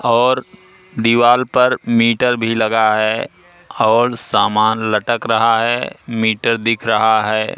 और दीवाल पर मीटर भीं लगा हैं और सामान लटक रहा हैं मीटर दिख रहा हैं।